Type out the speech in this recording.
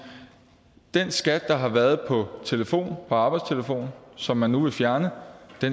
den skat der har været på arbejdstelefonen som man vil fjerne